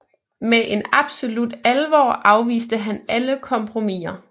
Med en absolut alvor afviste han alle kompromiser